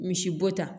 Misibo ta